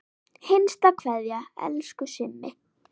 HINSTA KVEÐJA Elsku Simmi.